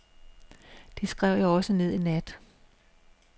Det skrev jeg også ned i nat.